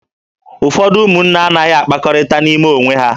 Ụfọdụ ụmụnne anaghị akpakọrịta n'ime onwe ha